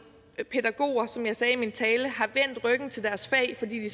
pædagoger som jeg sagde i min tale har vendt ryggen til deres fag fordi de